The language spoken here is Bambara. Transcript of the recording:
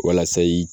Walasa i